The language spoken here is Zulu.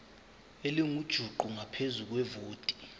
elingujuqu ngaphezu kwevoti